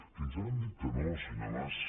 fins ara han dit que no senyor mas